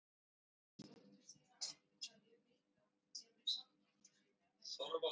Hann vilji láta dóttur sína á Ítalíu vita ef um samkeppni yrði að ræða.